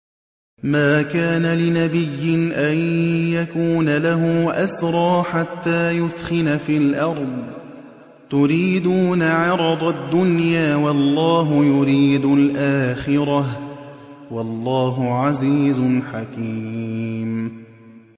مَا كَانَ لِنَبِيٍّ أَن يَكُونَ لَهُ أَسْرَىٰ حَتَّىٰ يُثْخِنَ فِي الْأَرْضِ ۚ تُرِيدُونَ عَرَضَ الدُّنْيَا وَاللَّهُ يُرِيدُ الْآخِرَةَ ۗ وَاللَّهُ عَزِيزٌ حَكِيمٌ